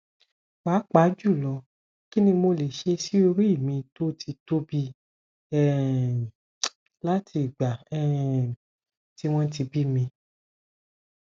papajulo kini mole se si ori mi to ti tobi um lati igba um ti won bimi